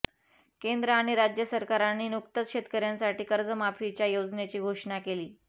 केंद्र आणि राज्य सरकारांनी नुकतंच शेतकऱ्यांसाठी कर्जमाफीच्या योजनेची घोषणा केली